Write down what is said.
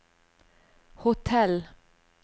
hotell